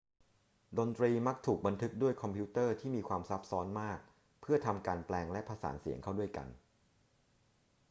ดนตรีมักถูกบันทึกด้วยคอมพิวเตอร์ที่มีความซับซ้อนมากเพื่อทำการแปลงและผสานเสียงเข้าด้วยกัน